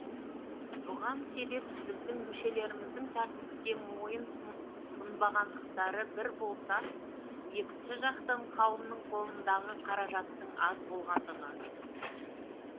бұған себеп біздің мүшелеріміздің тәртіпке мойын сұнбағандықтары бір болса екінші жақтан қауымның қолындағы қаражаттың аз болғандығы